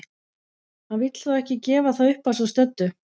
Hann vill þó ekki gefa það upp að svo stöddu.